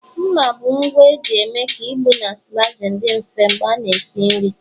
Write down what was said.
mma bụ ngwa eji eme ka ịgbụ na slicing dị mfe mgbe a na-esi nri